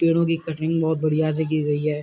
पेड़ों कि कटिंग बहोत बढ़िया से की गई है।